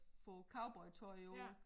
Få cowboytøj på